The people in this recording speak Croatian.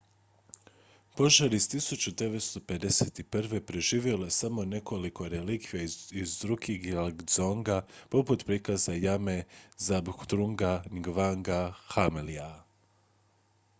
požar iz 1951. preživjelo je samo nekoliko relikvija iz drukgyal dzonga poput prikaza lame zhabdrunga ngawanga namgyala